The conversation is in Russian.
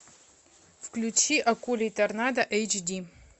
включи акулий торнадо эйч ди